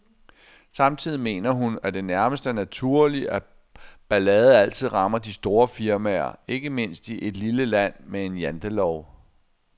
Samtidig mener hun, at det nærmest er naturligt, at ballade altid rammer de store firmaer, ikke mindst i et lille land med en jantelov.